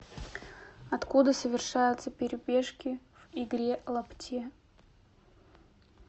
откуда совершаются перебежки в игре лапте